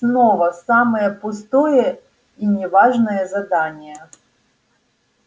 снова самое пустое и не важное задание